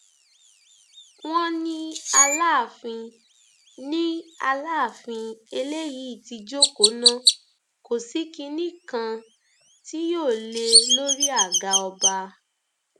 wọn ní aláàfin ní aláàfin eléyìí ti jókòó ná kò sí kinní kan tí yóò lé e lórí àga ọba